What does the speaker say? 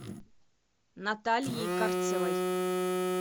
натальей карцевой